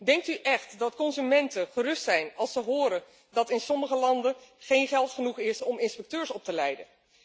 Denkt u echt dat consumenten gerust zijn als ze horen dat er in sommige landen niet genoeg geld is om inspecteurs op te leiden?